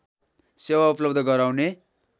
सेवा उपलव्ध गराउने